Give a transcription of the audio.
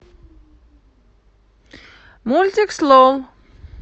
мультик слон